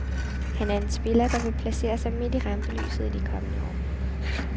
Han er en spiller, der vil placere sig midt i rampelyset i de kommende år.